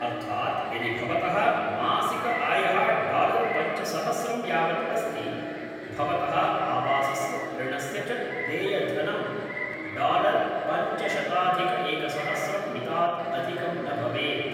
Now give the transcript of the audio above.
अर्थात् यदि भवतः मासिकआयः डालर् पञ्चसहस्रं यावत् अस्ति भवतः आवासस्य ऋणस्य च देयधनं डालर् पञ्चशताधिकएकसहस्रं मितात् अधिकं न भवेत्